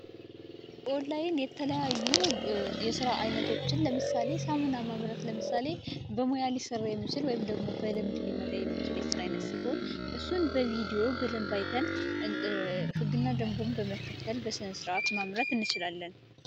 ኦንላይን የተለያዩ የስራ አይነቶችን ለምሳሌ ሳሙና ማህበራት ለምሳሌ በሙያ ሊሠሩ የመጠን በቪደዮ በደንብ ህግና ደንቆም በመከተል በስነስርአት ማምረት እንችላለን